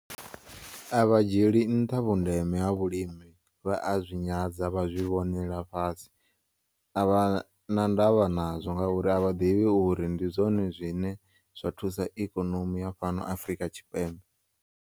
Avha dzhiyeli nnṱha vhundeme ha vhulimi vha a zwi nyadza vha zwi vhonela fhasi, a vhana ndavha nazwo ngauri avha ḓivhi uri ndi zwone zwine zwa thusa ikonomi ya fhano Afrika Tshipembe.